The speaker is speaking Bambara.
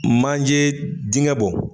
Manjee diŋɛ bɔ